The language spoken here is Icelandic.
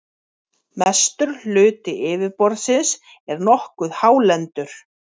mestur hluti yfirborðsins er nokkuð hálendur